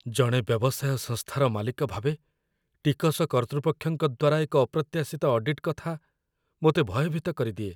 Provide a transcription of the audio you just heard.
ଜଣେ ବ୍ୟବସାୟ ସଂସ୍ଥାର ମାଲିକ ଭାବେ, ଟିକସ କର୍ତ୍ତୃପକ୍ଷଙ୍କ ଦ୍ୱାରା ଏକ ଅପ୍ରତ୍ୟାଶିତ ଅଡିଟ୍ କଥା ମୋତେ ଭୟଭୀତ କରିଦିଏ।